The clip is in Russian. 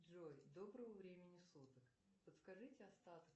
джой доброго времени суток подскажите остаток